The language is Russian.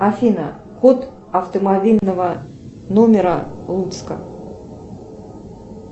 афина код автомобильного номера луцка